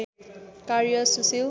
कार्य सुशील